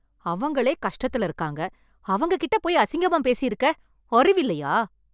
அவங்களே கஷ்டத்துல இருக்காங்க. அவங்க கிட்ட போய் அசிங்கமா பேசி இருக்க, அறிவில்லையா ?